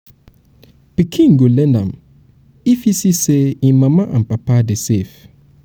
pikin go learn am if e see say en mama and papa dey save.